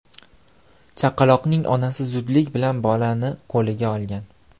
Chaqaloqning onasi zudlik bilan bolani qo‘liga olgan.